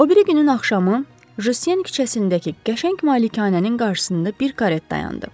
O biri günün axşamı Jusien küçəsindəki qəşəng malikanənin qarşısında bir karet dayandı.